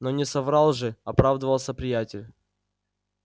но не соврал же оправдывался приятель